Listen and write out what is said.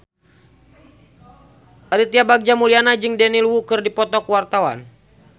Aditya Bagja Mulyana jeung Daniel Wu keur dipoto ku wartawan